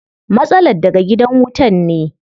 Matsalar daga gidan wutan ne.